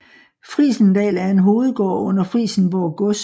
Frijsendal er en hovedgård under Frijsenborg Gods